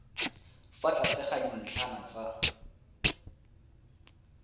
fa tlase ga dintlhana tsa